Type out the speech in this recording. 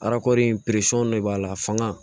Arakɔrɔ de b'a la fanga